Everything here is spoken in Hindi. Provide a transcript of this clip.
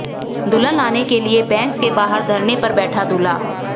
दुल्हन लाने के लिए बैंक के बाहर धरने पर बैठा दूल्हा